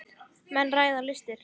Menn ræða listir.